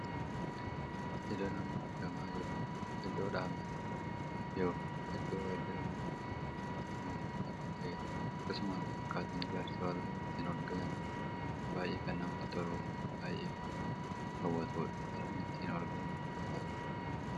Iddoo mma argamaa jiru kun iddoo dhaabbata ykn iddoo waajjiraan mootummaa ykn miti mootummaa kan taheedha. akkasumallee akkaataan ijaarsa balbala ittiin ol galanii kun baay'ee kan namatti toluu fi baay'ee kan nama hawwatuudha. karaa ittiin ol galanii kun baay'ee bareeda.